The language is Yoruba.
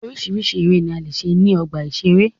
Oríṣiríṣi eré ni a lè ṣe ní ọgbà ìṣeré.